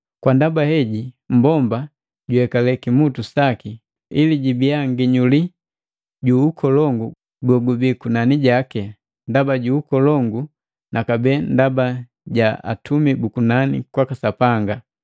Kwa ndaba heji mmbomba juyekale kimutu saki, ili jibia nginyuli ju ukolongu gogubii kunani jaki, ndaba ju ukolongu, na kabee ndaba ja atumi bu kunani kwaka Sapanga.